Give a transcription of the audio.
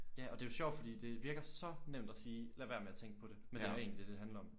Ja og det er jo sjovt fordi det virker så nemt at sige lad være med at tænke på det men det er egentlig dét det handler om